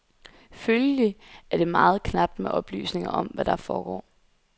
Følgelig er det meget knapt med oplysninger om, hvad der foregår.